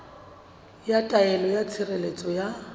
ya taelo ya tshireletso ya